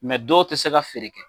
dɔw tɛ se ka feere kɛ.